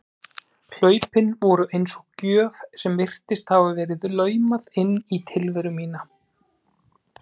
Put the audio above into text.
Hlaupin voru eins og gjöf sem virtist hafa verið laumað inn í tilveru mína.